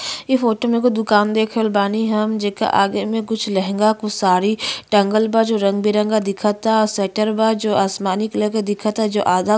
इ फोटो एगो दुकान देख रहल बानी हम जेकर आगे कुछ लेहेंगा कुछ साड़ी टंगल बा जो रंग- बिरंगा दिखता स्वेटर बा जो आसमानी कलर का दिखता जो आधा --